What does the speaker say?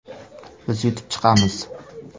Biz yutib chiqamiz”.